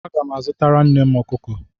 Aga m azụtara nnem ọkụkọ.